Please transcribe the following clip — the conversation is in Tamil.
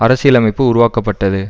அரசியலமைப்பு உருவாக்கப்பட்டது